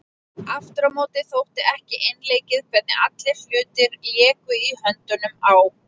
Aftur á móti þótti ekki einleikið hvernig allir hlutir léku í höndunum á